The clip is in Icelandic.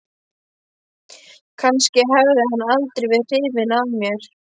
Kannski hafði hann aldrei verið hrifinn af mér.